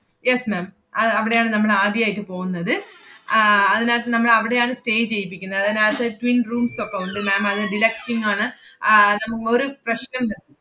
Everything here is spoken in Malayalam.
yes ma'am അഹ് അവിടെയാണ് നമ്മൾ ആദ്യായിട്ട് പോന്നത്. ആഹ് അതിനാത്ത് നമ്മളവിടെയാണ് stay ചെയ്യിപ്പിക്കുന്നെ. അതിനാത്ത് twin rooms ഒക്കെ ഉണ്ട് ma'am അത് deducting ആണ്. ആഹ് നമ~ ഒരു പ്രശ്നംണ്ട്.